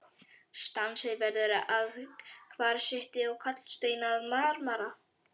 Sandsteinn verður að kvarsíti og kalksteinn að marmara.